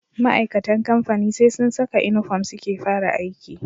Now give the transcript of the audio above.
Ma'aikatan kamfani SE sun Saka inufom suke fara aiki